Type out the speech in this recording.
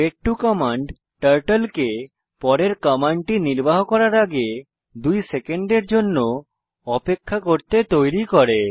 ভেইট 2 command turtle কে পরের কমান্ডটি নির্বাহ করার আগে 2 সেকেন্ডের জন্য অপেক্ষা করতে তৈরী করে